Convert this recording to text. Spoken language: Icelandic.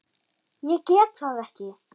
Ég get það ekki!